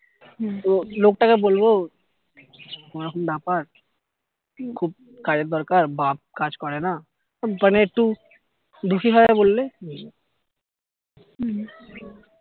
তো লোক টাকে বলবো ওরকম ব্যাপার খুব কাজের দরকার বাপ্ কাজ করে না মানে একটু দুঃখী ভাবে বললে